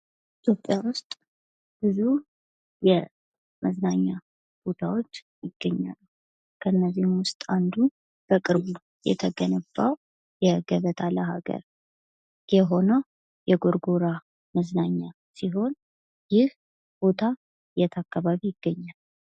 ኢትዮጵያ ውስጥ ብዙ የመዝናኛ ቦታዎች ይገኛሉ። ከነዚህም ውስጥ አንዱ በቅርቡ የተገነባው የገበታ ለሀገር የሆነው የጎርጎራ መዝናኛ ሲሆን ይህ ቦታ የት አካባቢ ይገኛል?